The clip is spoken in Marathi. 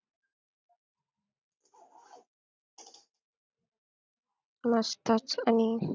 मस्तच आणि